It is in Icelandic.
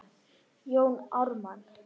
Jón Ármann